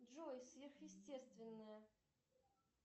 джой сверхъестественное